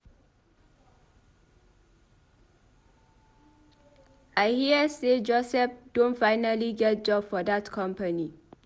I hear say Joseph Don finally get job for dat company.